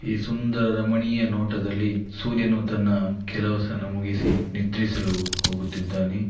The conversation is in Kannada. ಈ ಸುಂದರ ರಮಣಿಯ ನೋಟದಲ್ಲಿ ಸೂರ್ಯನು ತನ್ನ ಕೆಲಸವನ್ನು ಮುಗಿಸಿ ನಿದ್ರಿಸಲು ಹೋಗುತ್ತಿದ್ದಾನೆ.